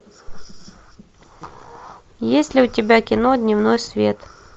есть ли у тебя кино дневной свет